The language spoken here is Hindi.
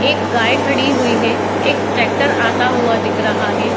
एक गाय खड़ी हुई है। एक ट्रैक्टर आता हुआ दिख रहा है।